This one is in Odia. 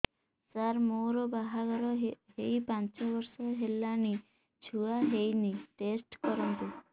ସାର ମୋର ବାହାଘର ହେଇ ପାଞ୍ଚ ବର୍ଷ ହେଲାନି ଛୁଆ ହେଇନି ଟେଷ୍ଟ କରନ୍ତୁ